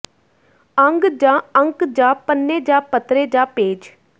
ਅੰਗ ਜਾਂ ਅੰਕ ਜਾਂ ਪੰਨੇ ਜਾਂ ਪੱਤਰੇ ਜਾਂ ਪੇਜ